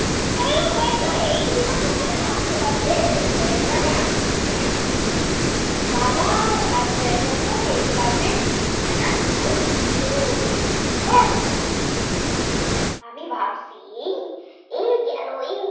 টানতে টানতে হয়ে যাবে আর্জেন্টিনা জিতে যাবে। হ্যাঁ হ্যাঁ, ও বাবা তারপরে এক লাফে তিনখানা goal দিল, আমি ভাবছি এই এই গেল এই গেল।